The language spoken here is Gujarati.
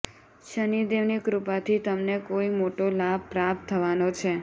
શનિદેવની કૃપાથી તમને કોઈ મોટો લાભ પ્રાપ્ત થવાનો છે